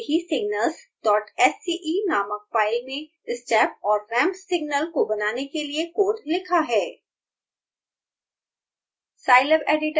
मैंने पहले से ही signalssce नामक फाइल में step और ramp सिग्नल को बनाने के लिए कोड लिखा है